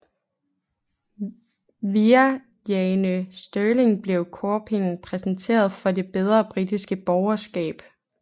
Via Jane Stirling blev Chopin præsenteret for det bedre britiske borgerskab